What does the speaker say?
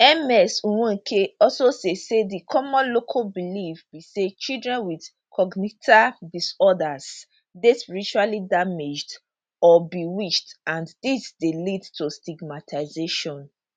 ms nweke also say say di common local belief be say children wit congenital disorders dey spiritually damaged or bewitched and dis dey lead to stigmatisation